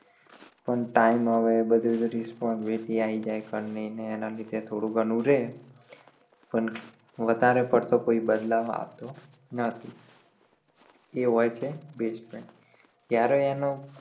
પણ time હવે બધુ વધૂ responsibility આઈ જાય ઘર ની ને એના લીધે થોડુ ઘણું રે પણ વધારે પડતું કોઈ બદલાવ આવતો નથી એ હોય છે best friend જ્યારે એનો